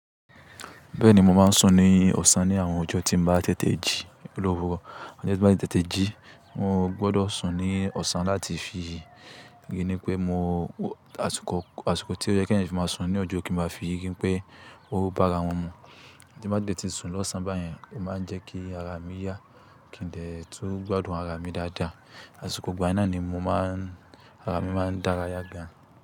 Bẹ́ẹ̀ni, mo máa ń sùn ní ọ̀sán ní àwọn ọjọ́ tí ń bá tètè jí lówó. Ọjọ́ tí ń bá ti tètè jí, mo gbọdọ̀ sùn ní ọ̀sán láti fi ri ni pé mo, àsìkò, àsìkò tí ó yẹ kí eẹ̀yan fi máa sùn ní ọjọ́ kí ń má fi ri wipé ó bá ara wọn mu. Tí n bá dé tí sùn lọ́sàn báyẹn, ó máa ń jẹ́ kí ara mi yá, kí n dẹ̀ tó gbádùn ara mi dáadáa. Àsìkò igbà náà ni mo máa ń, ara mi máa ń dára yá gan.